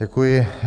Děkuji.